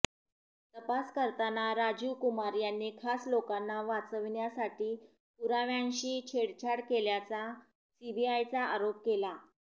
तपास करताना राजीव कुमार यांनी खास लोकांना वाचविण्यासाठी पुराव्यांशी छेडछाड केल्याचा सीबीआयचा आरोप आहे